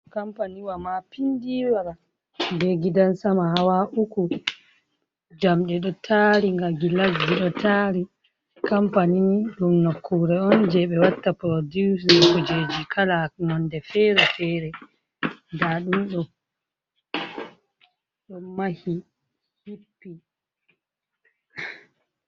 Kampani wa mapindiwa be gidan sama hawa uku, jamɗe ɗo taari nga, gilasji ɗo taari, kampani ɗum nukkure on jei ɓe watta producing kujeji kala, nonde fere-fere, nda ɗum ɗo mahi, hippi.